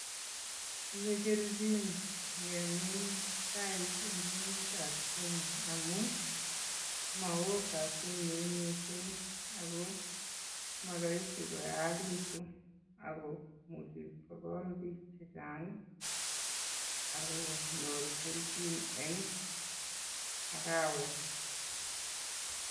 Tinye kelchin ngemin chaik en ngemetab Kenya amun ago moo kasinyin missing' ago moroisi koyachekitun ago imuche kokol biik chechang' ii ak konyor kelchin en arawet .